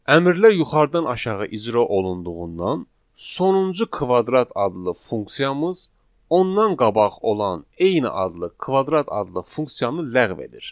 Əmrlər yuxarıdan aşağı icra olunduğundan sonuncu kvadrat adlı funksiyamız ondan qabaq olan eyni adlı kvadrat adlı funksiyanı ləğv edir.